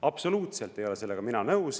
Absoluutselt ei ole sellega mina nõus.